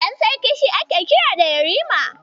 Ɗan sarki shi ake kira da Yarima.